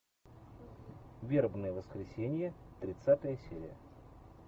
вербное воскресенье тридцатая серия